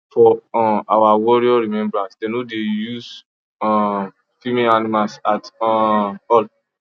for um our warrior remembrance dem no dey use um female animals at um all